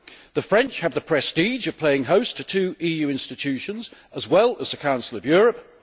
The French have the prestige of playing host to two EU institutions, as well as the Council of Europe.